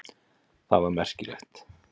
Það var merkilegt.